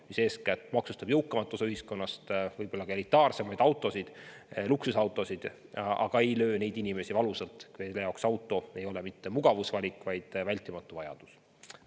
Eeskätt peaksime maksustama jõukamat osa ühiskonnast, võib-olla ka elitaarseid autosid, luksusautosid, jättes valusalt löömata inimesi, kelle jaoks auto ei ole mitte mugavusvalik, vaid vältimatu vajadus.